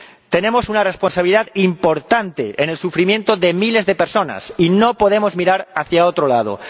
Tenemos una responsabilidad importante en el sufrimiento de miles de personas y no podemos mirar hacia otro lado.